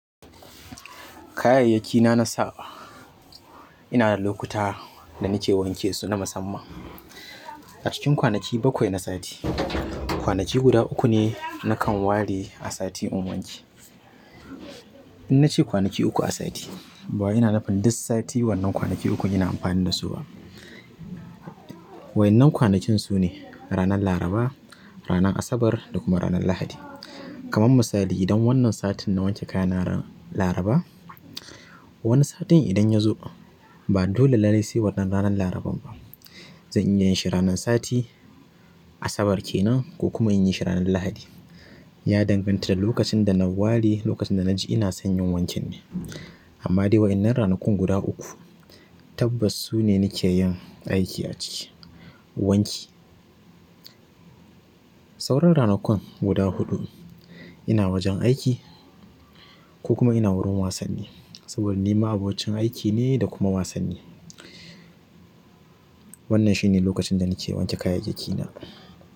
Kayayyaki na na sawa ina da lokuta da nike wanke su na musamman. A cikin kwanaki bakwai na sati. Kwanaki guda uku ne nakan ware a sati in wanki. In nace kwanaki uku a sati, ba wai ina nufin duk sati wannan kwanaki ukun ina amfani da su ba. Waƴannan kwanakin sune ranar Laraba, ranar Asabar da kuma ranar Lahadi. Kaman misali idan wannan satin na wanke kayana ran Laraba, wani satin idan ya zo ba dole lallai sai wannan ranar laraban ba. Zan iya yin shi ranar sati Asabar kenan ko kuma in yi shi ranar Lahadi. Ya danganta da lokacin da na ware lokacin da na ji ina son yin wankin ne. Amma dai waƴannan ranakun guda uku tabbas su ne nake yin aiki a ciki, wanki. Sauran ranakun guda huɗu ina wajen aiki ko kuma ina wurin wasanni. Saboda ni ma abocin aiki ne da kuma wasanni. Wannan shi ne lokacin da nake wanke kayayyakina.